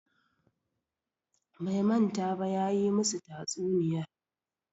Bai manta ba, ya yi musu tatsuniyar